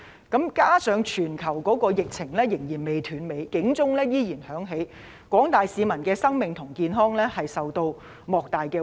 加上全球疫情仍然未斷尾，警號仍然響起，廣大市民的生命和健康繼續受到莫大威脅。